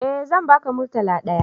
Eh zan ba ka murtala ɗaya